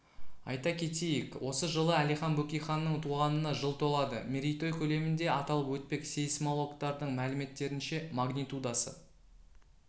айта кетейік осы жылы әлихан бөкейханның туғанына жыл толады мерейтой көлемінде аталып өтпек сейсмологтардың мәліметтерінше магнитудасы